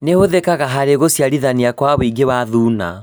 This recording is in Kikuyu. Nĩhũthĩkaga harĩ gũciarithania Kwa wũingĩ wa thuna